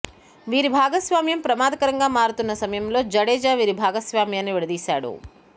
వీరి భాగస్వామ్యం ప్రమాదకరంగా మారుతున్న సమయంలో జడేజా వీరి భాగస్వామ్యాన్ని విడదీశాడు